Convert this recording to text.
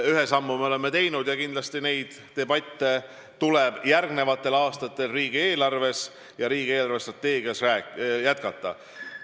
Ühe sammu me oleme teinud ja kindlasti neid debatte tuleb järgmistel aastatel riigieelarvet ja riigi eelarvestrateegiat arutades jätkata.